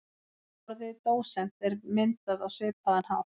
Orðið dósent er myndað á svipaðan hátt.